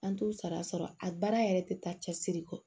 An t'u sara sɔrɔ a baara yɛrɛ tɛ taa cɛsiri kɔ